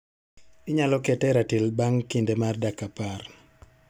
Inyalo keta e ratil bang' kinde mar dakika apar